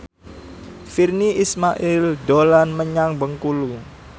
Virnie Ismail dolan menyang Bengkulu